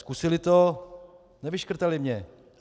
Zkusili to, nevyškrtali mě.